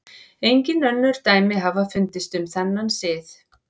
Engin önnur dæmi hafa fundist um þennan sið.